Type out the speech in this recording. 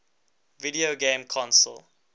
video game console